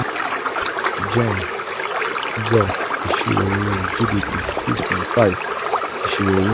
gen. gov. ìṣírò owó gdp six point five (ìṣírò owó)